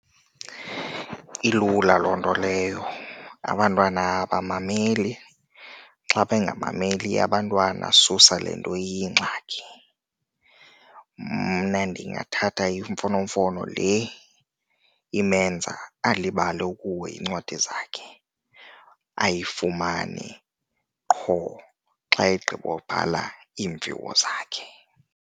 Ilula loo nto leyo, abantwana abamameli. Xa bangamameli abantwana susa le nto iyingxaki. Mna ndingathatha imfonomfono le imenza alibale ukuhoya iincwadi zakhe ayifumani qho xa egqibobhala iimviwo zakhe.